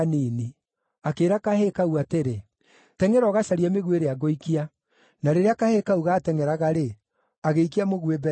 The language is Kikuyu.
akĩĩra kahĩĩ kau atĩrĩ, “Tengʼera ũgacarie mĩguĩ ĩrĩa ngũikia.” Na rĩrĩa kahĩĩ kau gaatengʼeraga-rĩ, agĩikia mũguĩ mbere yako.